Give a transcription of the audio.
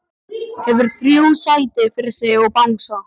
Hefur þrjú sæti fyrir sig og bangsa.